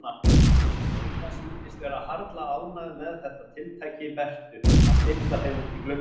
Heiða sýndist vera harla ánægð með þetta tiltæki Bertu að stilla þeim út í glugga.